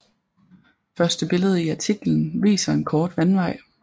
Første billede i artiklen viser en kort vandvej